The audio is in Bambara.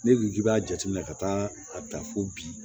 Ne dun ki b'a jate ka taa a ta fo bi